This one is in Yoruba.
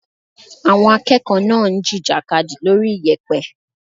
Àwọn akẹ́kọ̀ọ́ náà ń jìjàkadì lórí iyẹ̀pẹ̀.